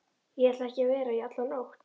Ég ætlaði ekki að vera í alla nótt.